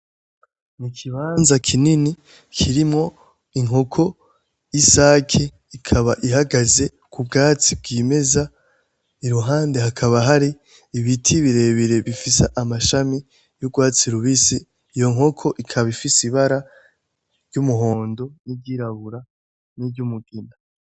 Nikibanza kinini kirimwo Inkoko y'isake ikaba ihagaze kubwatsi bwimeza iruhande hakaba hari ibiti birebire bifise amashami y'urwatsi rubisi iyo nkoko ikaba ifise ibara ry'umuhondo, n'iryirabura n'iry'umugina